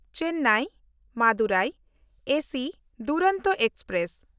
Chennai Madurai AC Duronto express